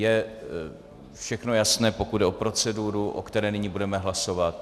Je všechno jasné, pokud jde o proceduru, o které nyní budeme hlasovat?